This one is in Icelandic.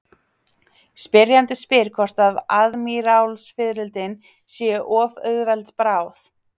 Spyrjandi spyr hvort aðmírálsfiðrildin séu of auðveld bráð.